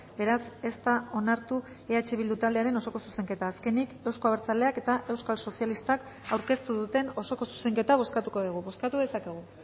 beraz ez da onartu eh bildu taldearen osoko zuzenketa azkenik euzko abertzaleak eta euskal sozialistak aurkeztu duten osoko zuzenketa bozkatuko dugu bozkatu dezakegu